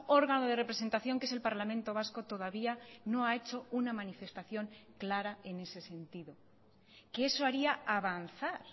órgano de representación que es el parlamento vasco todavía no ha hecho una manifestación clara en ese sentido que eso haría avanzar